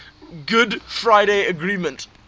good friday agreement